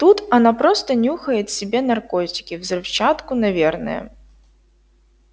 тут она просто нюхает себе наркотики взрывчатку наверное